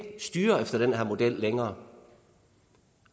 styre efter den her model længere